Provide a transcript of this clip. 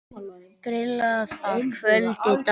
Grillað að kvöldi dags.